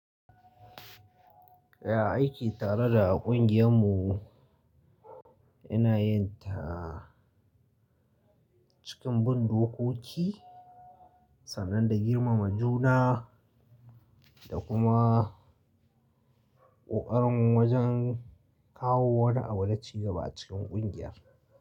Ya aiki tare da a ƙungiyar mu. Ina yin ta cikin bin dokoki sannan da girmama juna da kuma ƙoƙarin wajen kawo wani abu na cigaba a cikin ƙungiya.